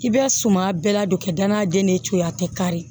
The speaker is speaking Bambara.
I bɛ suman bɛɛ ladon ka danaya den ni ce a tɛ kari